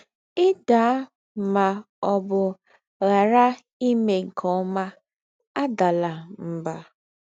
Ì̀ dàà mà ọ̀ bù ghàrá ímè nké ọ́mà, àdàlà mbà.